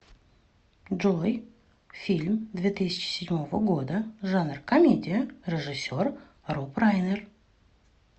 джой фильм две тысячи седьмого года жанр комедия режиссер роб райнер